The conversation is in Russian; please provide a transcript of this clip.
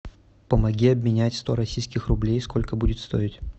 помоги обменять сто российских рублей сколько будет стоить